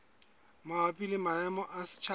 mabapi le maemo a setjhaba